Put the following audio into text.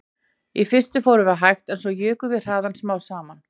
Í fyrstu fórum við hægt en svo jukum við hraðann smám saman